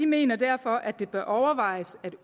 mener derfor at det bør overvejes at